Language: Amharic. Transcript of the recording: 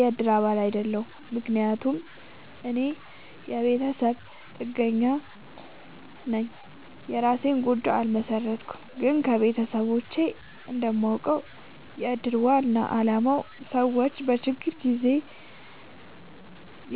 የእድር አባል አይደለሁም። ምክንያቱም እኔ የቤተሰብ ጥገኛነኝ የእራሴን ጎጆ አልመሠረትኩም። ግን ከቤተሰቦቼ እንደማውቀው። የእድር ዋናው አላማ ሰዎች በችግር ጊዜ